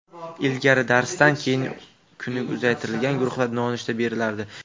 Ilgari darsdan keyin kuni uzaytirilgan guruhlarda nonushta berilardi.